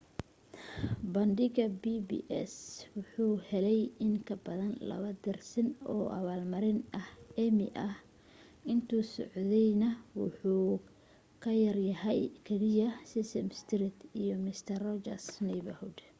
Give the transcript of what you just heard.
bandhiga pbs waxa uu helay in ka badan laba dersin oo abaalmarinaha emmy ah intuu socdayna waxa uu ka yaryahay oo keliya sesame street iyo mister rogers' neighborhood